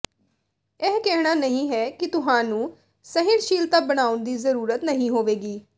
ਇਹ ਕਹਿਣਾ ਨਹੀਂ ਹੈ ਕਿ ਤੁਹਾਨੂੰ ਸਹਿਣਸ਼ੀਲਤਾ ਬਣਾਉਣ ਦੀ ਜ਼ਰੂਰਤ ਨਹੀਂ ਹੋਵੇਗੀ